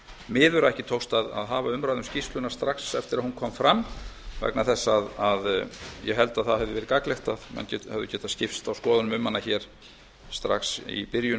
miður að ekki tókst að hafa umræðu um skýrsluna strax eftir að hún kom fram vegna þess að ég held að það hefði getað verið gagnlegt að menn hefðu getað skipst á skoðun um hana strax í byrjun